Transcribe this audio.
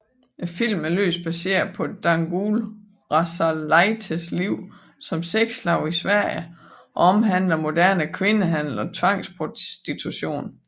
Filmen er løst baseret på Dangoule Rasalaites liv som sexslave i Sverige og omhandler moderne kvindehandel og tvangsprostitution